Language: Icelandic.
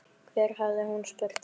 Hvar hafði hún spurt þau?